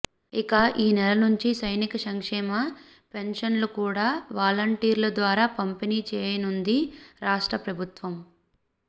ఇక ఈ నెల నుంచి సైనిక సంక్షేమ పెన్షన్లు కూడా వాలంటీర్ల ద్వారా పంపిణీ చేయనుంది రాష్ట్ర ప్రభుత్వం